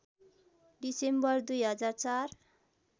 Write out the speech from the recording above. December २००४